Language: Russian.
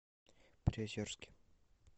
приозерске